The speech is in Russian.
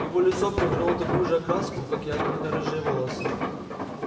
его лицо приобрело такую же окраску как и огненно-рыжие волосы